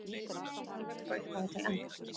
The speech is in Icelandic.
Alveg frá upphafi til enda?